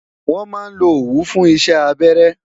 wọn má lo owu fún isé abẹrẹ